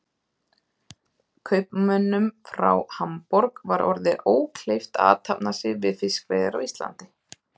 Kaupmönnum frá Hamborg var orðið ókleift að athafna sig við fiskveiðar á Íslandi.